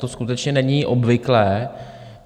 To skutečně není obvyklé.